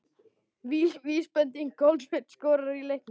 Vísbending: Kolbeinn skoraði í leiknum?